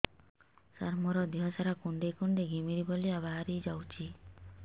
ସାର ମୋର ଦିହ ସାରା କୁଣ୍ଡେଇ କୁଣ୍ଡେଇ ଘିମିରି ଭଳିଆ ବାହାରି ଯାଉଛି